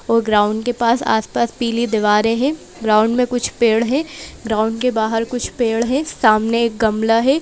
और ग्राउंड पास के पास आस-पास पीली दीवारें हैं ग्राउंड में कुछ पेड़ हैं ग्राउंड के बाहर कुछ पेड़ हैं सामने एक गमला है।